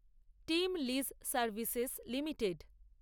team lease services limited